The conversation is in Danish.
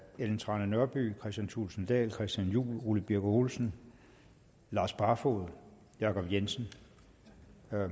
ellen trane nørby kristian thulesen dahl christian juhl ole birk olesen lars barfoed jacob jensen